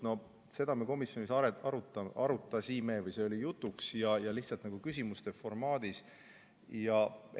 No seda me komisjonis arutasime, see oli küsimuste formaadis jutuks.